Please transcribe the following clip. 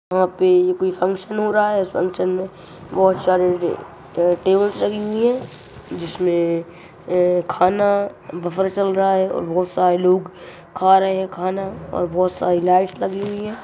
यहाँ पे ये कोई फंक्शन हो रहा है इस फंक्शन में बोहोत सरे टेबल्स लगी हुई हैं जिसमे ए खाना बफर चल रहा है और बोहोत सारे लोग खा रहे हैं खाना और बोहोत सारी लाइट लगी हुई हैं।